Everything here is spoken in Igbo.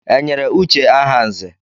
E nyere Uche aha nzè?